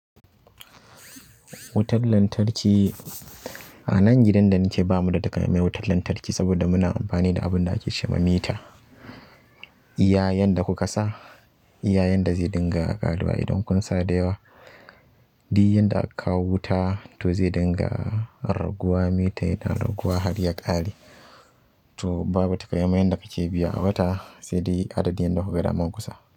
Wutar lantarki. A nan gidan da nike bamu da takamaiman wutar lantarki saboda muna amfani da abun da ake ce ma mita. Iyayan da kuka sa, iyayen da zai dinga ƙaruwa idan kun sa da yawa. Duk yanda aka kawo wuta to zai dinga raguwa, mita yana raguwa har ya ƙare. To, babu taƙa maimai yanda kake biya a wata sai dai duk adadin yadda kuka ga dama kusa.